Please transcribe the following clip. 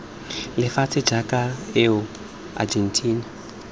lefatshe jaaka us eu argentina